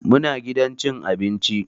Muna gidan cin abinci.